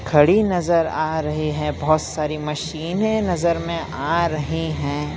खड़ी नजर आ रहे हैं बहोत सारी मशीने नजर में आ रहे हैं।